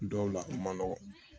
Dɔw la a ma nɔgɔn